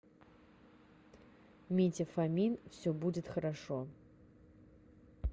митя фомин все будет хорошо